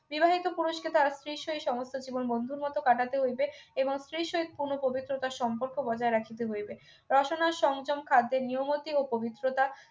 বিবাহিত পুরুষকে তার স্ত্রীর সহিত সমস্ত জীবন বন্ধুর মত কাটাতে হইবে এবং স্ত্রীর সহিত পুনঃ পবিত্রতার সম্পর্ক বজায় রাখিতে হইবে রসনার সংযম খাদ্যের নিয়মতি ও পবিত্রতা